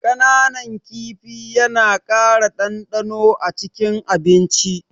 Kananan kifi yana ƙara ɗanɗano acikin abinci.